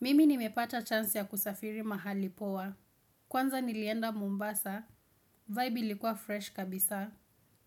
Mimi nimepata chance ya kusafiri mahali poa. Kwanza nilienda Mombasa, vibe ilikuwa fresh kabisa.